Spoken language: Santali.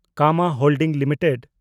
Kama holding limited